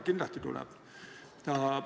Kindlasti tuleb.